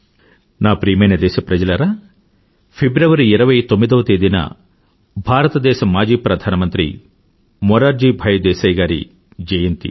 నా ప్రియమైన దేశప్రజలారా ఫిబ్రవరి29వ తేదీన భారతదేశ మాజీ ప్రధానమంత్రి మురార్జీ భాయ్ దేశాయ్ గారి జయంతి